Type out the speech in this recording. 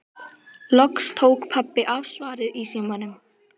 Loks tók pabbi af skarið í símanum.